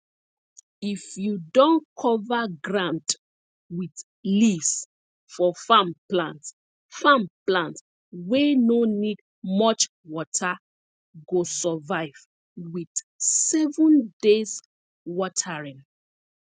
if you don cover ground with leaves for farm plant farm plant wey no need much water go survive with seven days watering